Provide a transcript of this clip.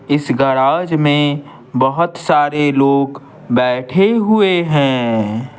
इस गैराज में बहुत सारे लोग बैठे हुए हैं।